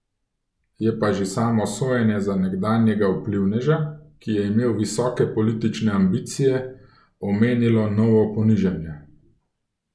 Je pa že samo sojenje za nekdanjega vplivneža, ki je imel visoke politične ambicije, omenilo novo ponižanje.